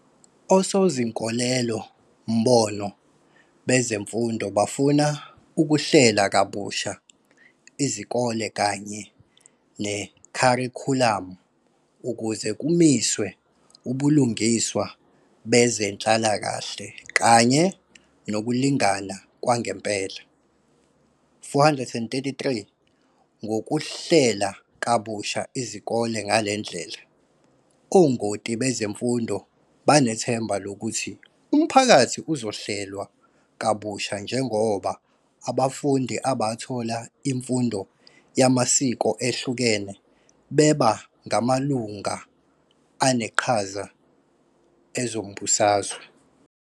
Osozinkolelo-mbono bezemfundo bafuna ukuhlela kabusha izikole kanye nekharikhulamu ukuze kumiswe "ubulungiswa bezenhlalakahle kanye nokulingana kwangempela". - 433 Ngokuhlela kabusha izikole ngale ndlela, ongoti bezemfundo banethemba lokuthi umphakathi uzohlelwa kabusha njengoba abafundi abathole imfundo yamasiko ehlukene beba ngamalungu aneqhaza ezombusazwe.